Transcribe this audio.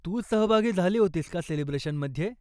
तू सहभागी झाली होतीस का सेलिब्रेशनमध्ये?